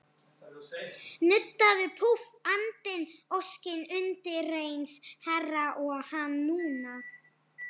Nuddaðu, púff, andinn, óskin, undireins herra, og hananú!